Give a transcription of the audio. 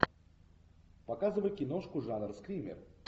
показывай киношку жанра скример